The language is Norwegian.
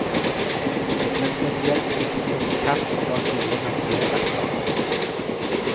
Det ble spesielt viktig å få kart som var gode å navigere etter.